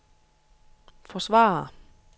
forsvare